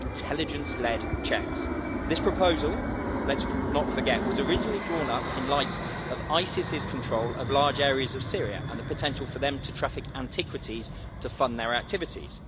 intelligence led checks. This proposal let's not forget was originally drawn up in light of Isis's control of large areas of Syria and the potential for them to traffic antiquities to fund their activities.